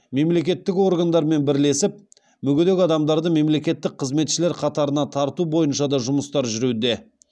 мемлекеттік органдармен бірлесіп мүгедек адамдарды мемлекеттік қызметшілер қатарына тарту бойынша да жұмыстар жүруде